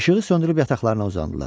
İşığı söndürüb yataqlarına uzandılar.